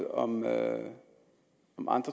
og